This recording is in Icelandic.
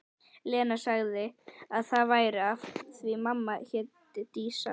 Lena sagði að það væri af því mamma héti Dísa.